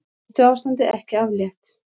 Hættuástandi ekki aflétt